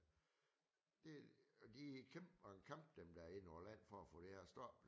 Det de kæmper en kamp dem der inde over land for at få det her stoppet